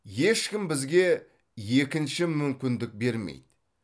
ешкім бізге екінші мүмкіндік бермейді